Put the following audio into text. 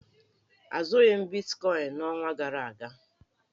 Azụghị m bitkọịn n'ọnwa gara aga.